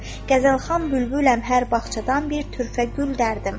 Qəzəlxan bülbüləm, hər bağçadan bir türfə gül dərdim.